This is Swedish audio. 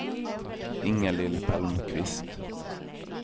Inga-Lill Palmqvist